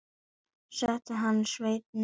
Setti hann sveininn niður að svo mæltu.